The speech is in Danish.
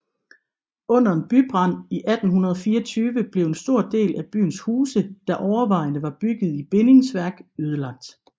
Under en bybrand i 1824 blev en stor del af byens huse der overvejende var bygget i bindingsværk ødelagt